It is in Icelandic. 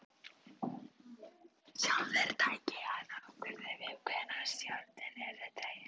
Sjálfur tæki hann ákvörðun um hvenær stjórinn yrði dreginn upp.